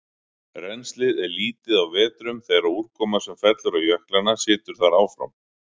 Rennslið er lítið á vetrum þegar úrkoma sem fellur á jöklana situr þar áfram.